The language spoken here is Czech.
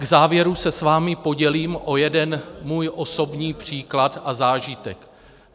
K závěru se s vámi podělím o jeden svůj osobní příklad a zážitek.